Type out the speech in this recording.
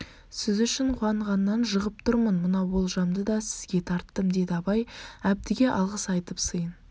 сіз үшін қуанғаннан жығып тұрмын мынау олжамды да сізге тарттым деді абай әбдіге алғыс айтып сыйын